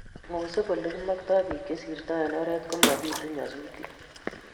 ngosuup olegimoktoi biik chesirtoi eng oret komabitu nyasusiet